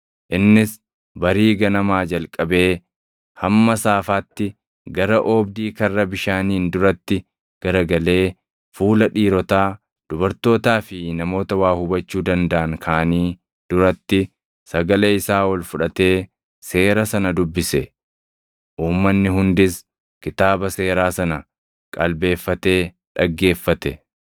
Innis barii ganamaa jalqabee hamma saafaatti gara oobdii Karra Bishaaniin duratti garagalee fuula dhiirotaa, dubartootaa fi namoota waa hubachuu dandaʼan kaanii duratti sagalee isaa ol fudhatee seera sana dubbise. Uummanni hundis kitaaba Seeraa sana qalbeeffatee dhaggeeffate.